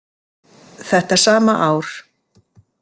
Þetta sama ár.